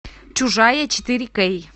чужая четыре кей